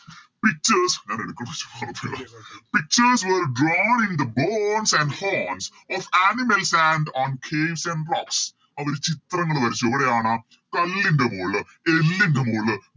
Pictures Pictures were drawn into bones and horns of animals and on caves and rocks അവര് ചിത്രങ്ങള് വരച്ചു എവിടെയാണ് കല്ലിൻറെ മോള് എല്ലിൻറെ മോള്